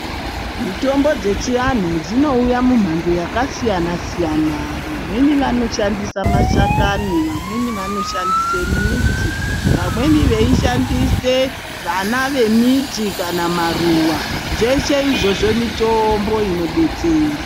Mitombo dzechiantu dzinouya mumhando dzakasiyana siyana vamweni vanoshandise mashakani vamweni vanoshandise midzi vamweni veishandise vana vemiti kana maruva zveshe izvozvo mitombo inobetsera .